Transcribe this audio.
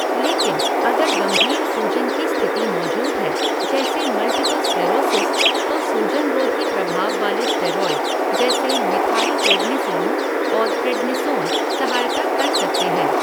लेकिन, अगर गंभीर सूजन की स्थिति मौजूद है, जैसे मल्टीपल स्क्लेरोसिस, तो सूजन रोधी प्रभाव वाले स्टेरॉयड जैसे मिथाइलप्रेडनिसोलोन और प्रेडनिसोन सहायता कर सकते हैं।